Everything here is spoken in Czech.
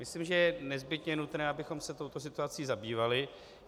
Myslím, že je nezbytně nutné, abychom se touto situací zabývali.